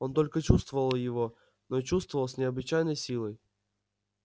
он только чувствовал его но чувствовал с необычайной силой